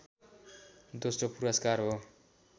दोस्रो पुरस्कार हो